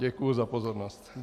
Děkuji za pozornost.